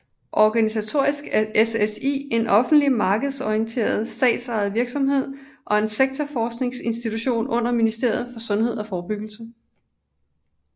Organisatorisk er SSI en offentlig markedsorienteret statsejet virksomhed og en sektorforskningsinstitution under Ministeriet for Sundhed og Forebyggelse